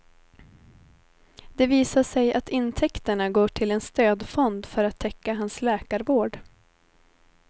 Det visar sig att intäkterna går till en stödfond för att täcka hans läkarvård.